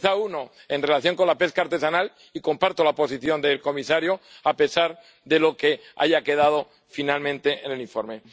Quizá uno, en relación con la pesca artesanal, y comparto la posición del comisario a pesar de lo que haya quedado finalmente en el informe.